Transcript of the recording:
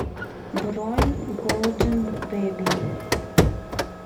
бронь голдэн бэби